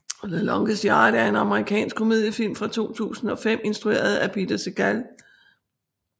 The Longest Yard er en amerikansk komediefilm fra 2005 instrueret af Peter Segal